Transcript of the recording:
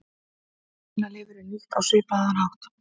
Svínalifur er nýtt á svipaðan hátt.